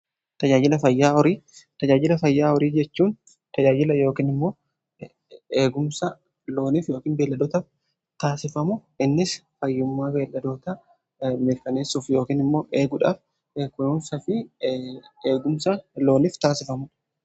tajajila fayyaa horii jechuun tajaajila yookoon immoo eegumsa looniif yookiin beelladootaaf taasifamu innis fayyummaa beelladoota mirkaneessuuf yookiin immoo eeguudhaaf eegumsa loonif taasifamudha.